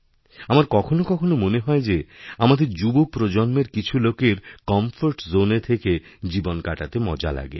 আমারকখনও কখনও মনে হয় যে আমাদের যুবপ্রজন্মের কিছু লোকের কমফোর্ট জোন এ থেকে জীবন কাটাতে মজা লাগে